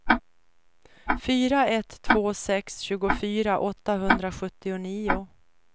fyra ett två sex tjugofyra åttahundrasjuttionio